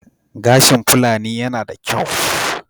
Gashin Fulani yana da kyau.